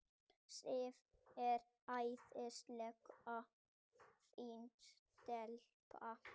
Sif er æðislega fín stelpa.